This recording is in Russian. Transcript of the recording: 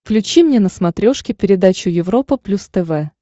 включи мне на смотрешке передачу европа плюс тв